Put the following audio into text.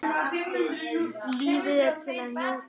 Lífið er til að njóta.